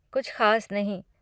कुछ खास नहीं।